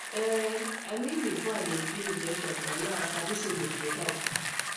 ehn i mean before i dey fear injection but now i sabi say dem dey help